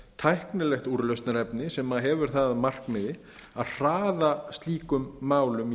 tæknilegt úrlausnarefni sem hefur það að markmiði að hraða slíkum málum